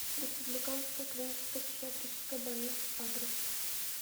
республиканская клиническая психиатрическая больница адрес